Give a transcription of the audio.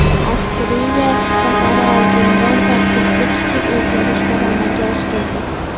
Avstriya safari oldidan tarkibda kichik o‘zgarishlar amalga oshirildi .